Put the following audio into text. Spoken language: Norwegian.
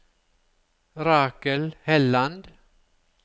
Rakel Helland